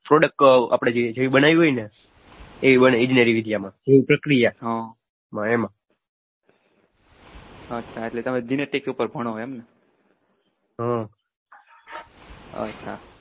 થોડુંક આપણે જે બનાવ્યું હોય ને એ બને પ્રક્રિયામાં હમ્મ એમાં અચ્છા